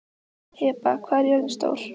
Heba, hvað er jörðin stór?